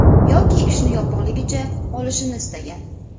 Yoki ishni yopig‘ligicha qolishini istagan.